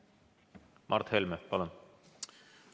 Mart Helme, palun!